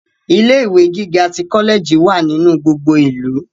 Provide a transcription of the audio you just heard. Ilé ìwé gíga tí kọlẹẹjì wà nínú gbogbo ìlú.